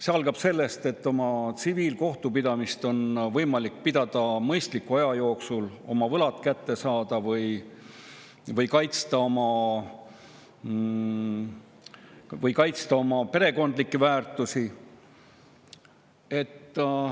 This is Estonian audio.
See algab sellest, et tsiviilkohtus on võimalik mõistliku aja jooksul oma võlad kätte saada või kaitsta oma perekondlikke väärtusi.